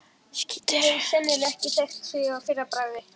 Ég hefði sennilega ekki þekkt þig að fyrra bragði.